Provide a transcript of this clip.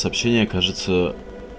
сообщение кажется